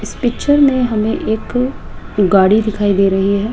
इस पिक्चर में हमें एक गाड़ी दिखाई दे रही है।